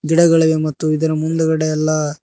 ಗಿಡಗಳಿವೆ ಮತ್ತು ಇದರ ಮುಂದ್ಗಡೆ ಎಲ್ಲಾ--